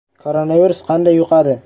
– Koronavirus qanday yuqadi ?